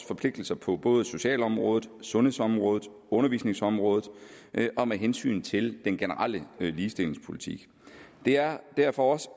forpligtelser på både socialområdet sundhedsområdet undervisningsområdet og med hensyn til den generelle ligestillingspolitik det er derfor også